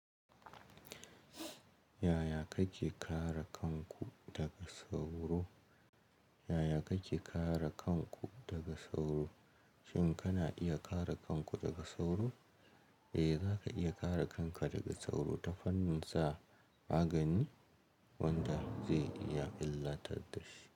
Yaya kake kare kanku daga sauro? Yaya kake kare kanku daga sauro? Shin kana iya kare kanku daga sauro? Eh, zaka iya kare kanka daga sauro ta fannin sa magani wanda zai iya illatar da shi.